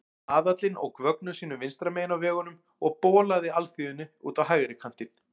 Aðallinn ók vögnum sínum vinstra megin á vegunum og bolaði alþýðunni út á hægri kantinn.